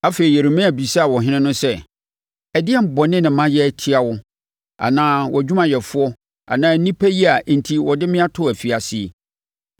Afei, Yeremia bisaa ɔhene no sɛ, “Ɛdeɛn bɔne na mayɛ atia wo, anaa wʼadwumayɛfoɔ anaa nnipa yi a enti wɔde me ato afiase yi?